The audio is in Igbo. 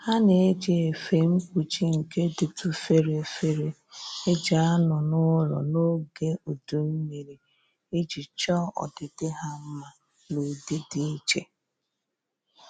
Ha na-eji efe mkpuchi nke dịtụ fere fere e ji anọ n'ụlọ n'oge udu mmiri iji chọọ ọdịdị ha mma n'ụdị dị iche